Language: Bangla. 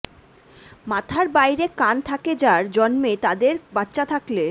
মাথার বাইরে কান থাকে যার জন্মে তাদের বাচ্চা থাকলে